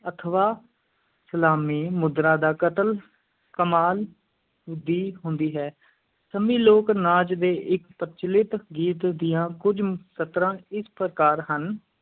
ਅਥਵਾ ਸਲਾਮੀ ਮੁਦਰਾ ਦਾ ਕਤਲ ਕਮਾਲ ਦੀ ਹੁੰਦੀ ਹੈ, ਸੰਮੀ ਲੋਕ-ਨਾਚ ਦੇ ਇੱਕ ਪ੍ਰਚਲਿਤ ਗੀਤ ਦੀਆਂ ਕੁਝ ਸਤਰਾਂ ਇਸ ਪ੍ਰਕਾਰ ਹਨ,